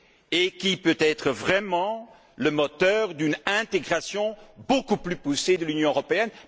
et qui soit le véritable moteur d'une intégration beaucoup plus poussée de l'Union européenne.